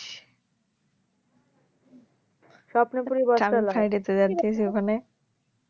স্বপ্নপুরী বটতলা